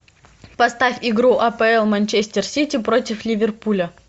поставь игру апл манчестер сити против ливерпуля